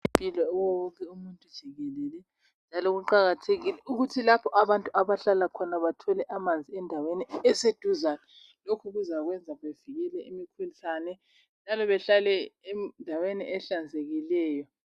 Amanzi aqakathekile, kuye wonke umuntu jikelele. Kuqakathekile ukuthi lapho abantu abahlala khona bathole amanzi endaweni eseduzane. Lokhu kuzabenza bavikele imikhuhlane, njalo bahlale endaweni ehlanzekileyo.